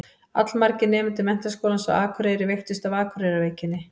Allmargir nemendur Menntaskólans á Akureyri veiktust af Akureyrarveikinni.